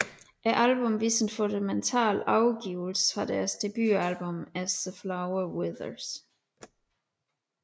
Albummet viste en fundamental afvigelse fra deres debutalbum As the Flower Withers